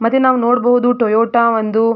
ಮತ್ತೆ ನಾವು ನೋಡಬಹುದು ಟೊಯೋಟಾ ಒಂದು.